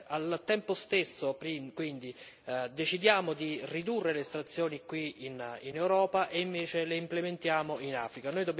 Al tempo stesso, quindi, decidiamo di ridurre le estrazioni qui in Europa che poi, invece, implementiamo in Africa.